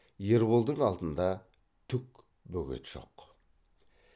ерболдың алдында түк бөгет жоқ